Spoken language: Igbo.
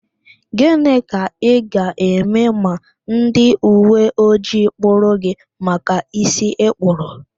Gịnị ka ị ga-eme ma ndị uwe ojii kpụrụ gị maka ísí ịkpụrụ?